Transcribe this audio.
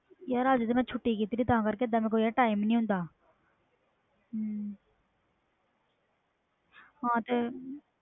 ਯਾਰ ਅਜ ਤੇ ਮੈਂ ਛੁੱਟੀ ਕੀਤੀ ਆ ਓਹਦਾ time ਨਹੀਂ ਹੁੰਦਾ ਹਾਂ ਤਾ